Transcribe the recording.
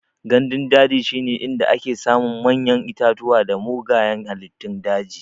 Gandun daji shine inda ake samun manyan itatuwa da mugayan halittun daji.